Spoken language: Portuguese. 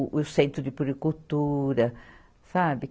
O, o centro de puricultura, sabe?